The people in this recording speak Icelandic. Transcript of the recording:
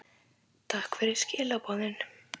Takk fyrir skilaboðin.